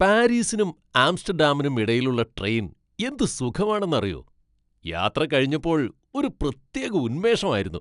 പാരീസിനും ആംസ്റ്റഡാമിനും ഇടയിലുള്ള ട്രെയിൻ എന്ത് സുഖമാണെന്ന് അറിയോ...യാത്ര കഴിഞ്ഞപ്പോൾ ഒരു പ്രത്യേക ഉന്മേഷം ആയിരുന്നു.